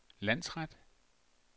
landsret